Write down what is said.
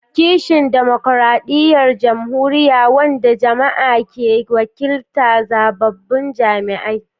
kishin demokradiyyar jamhuriya, wanda jama'a ke wakilta da zababbun jami'ai.